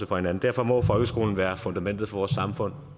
for hinanden derfor må folkeskolen være fundamentet for vores samfund